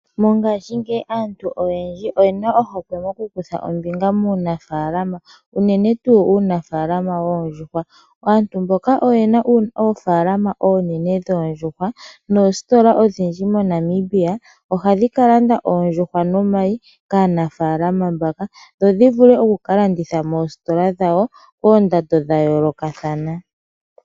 Mongashingeyi aantu oyendji oye na ohokwe mokukutha ombinga muunafaalama, unene tuu muunaafalama woondjuhwa. Aantu mboka oye na oofaalama oonene dhoondjuhwa noositola odhindji moNamibia ohadhi ka landa oondjuhwa nomayi kaanafalama mbaka, dho dhi vule oku ka landithwa moositola dhawo koondando dha yoolokathana.